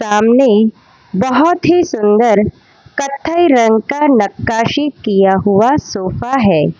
सामने बहोत ही सुंदर कत्थई रंग का नकाशी किया हुआ सोफा है।